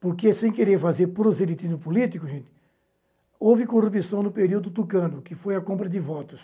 Porque sem querer fazer proselitismo político, gente, houve corrupção no período tucano, que foi a compra de votos.